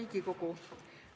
Hea Riigikogu!